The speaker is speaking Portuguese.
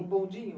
Um bondinho?